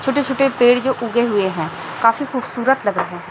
छोटे छोटे पेड़ जो उगे हुए हैं काफी खूबसूरत लग रहे हैं।